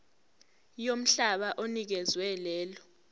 yomhlaba onikezwe lelo